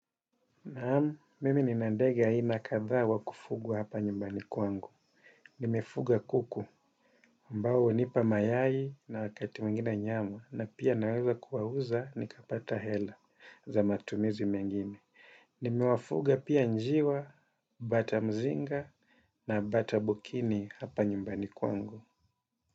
Naam, mimi nina ndege aina kadha wa kufugwa hapa nyumbani kwangu. Nimefuga kuku, ambao hunipa mayai na wakati mwingine nyama, na pia naweza kuwauza, nikapata hela za matumizi mengine. Nimewafuga pia njiwa, bata mzinga, na bata bukini hapa nyumbani kwangu.